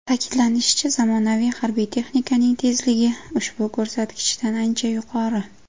Ta’kidlanishicha, zamonaviy harbiy texnikaning tezligi ushbu ko‘rsatkichdan ancha yuqori.